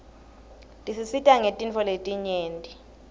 tisisita ngetintfo letinyeti